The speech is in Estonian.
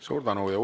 Suur tänu!